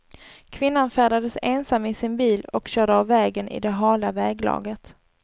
Kvinnan färdades ensam i sin bil och körde av vägen i det hala väglaget.